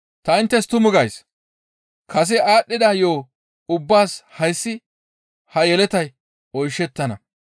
Ta inttes tumu gays; kase aadhdhida yo7o ubbaas hayssi ha yeletay oyshettana.